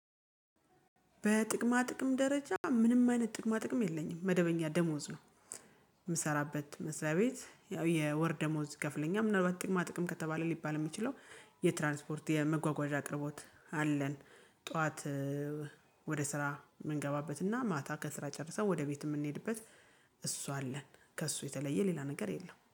በጥቅማ ጥቅም ደረጃ ምንም አይነት ጥቅማ ጥቅም የለኝም መደበኛ ደሞዝ ነው። የምሰራበት መስሪያ ቤት ያው የወር ደሞዝ ይከፍለኛል ምናልባት ጥቅማ ጥቅም ከተባለ ሊባል የሚችለው። የትራንስፖርት የመጓጓዣ አቅርቦት አለን። ጠዋት ወደ ስራ የምንገባበትና ማታ ከስራ ጨርሰን ወደ ቤት የምንሄድበት። እሱ አለን ከእሱ የተለየ ሌላ ነገር የለም